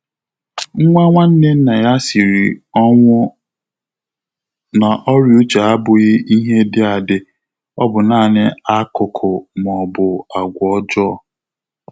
Nwá nwànnè nnà yá sìrì ọnwụ́ nà ọ́rị́à úchè ábụ́ghị́ ìhè dị̀ àdị́, ọ́ bụ́ nāànị́ ákụ́kụ́ mà ọ́ bụ̀ àgwà ọ́jọ́ọ́.